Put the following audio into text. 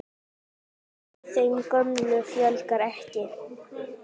Og þeim gömlu fjölgar ekki.